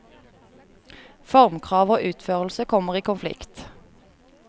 Formkrav og utførelse kommer i konflikt.